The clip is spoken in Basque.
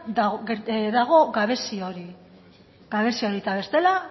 dago gabezia hori eta bestela